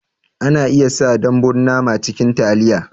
Ana iya sa dambun nama cikin taliya